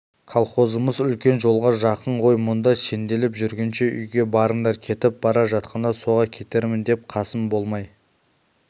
колхозымыз үлкен жолға жақын ғой мұнда сенделіп жүргенше үйге барыңдар кетіп бара жатқанда соға кетермін деп қасым болмай